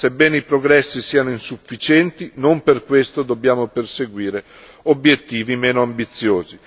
Ma, sebbene i progressi siano insufficienti, non per questo dobbiamo perseguire obiettivi meno ambiziosi.